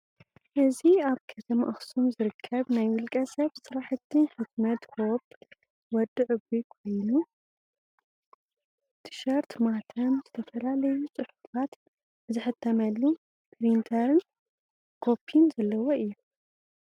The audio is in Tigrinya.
እዚ አብ ከተማ አክሱም ዝርከብ ናይ ውልቀ ሰብ ስርሐቲ ሕትመት ሆፕ ወዲ ዕቡይ ኮይኑ ቲሸርት፣ ማህተም፣ ዝተፈላለዩ ፅሑፋት ዝሕተመሉ ፕሪንተርን ኮፒን ዘለዎ እዩ።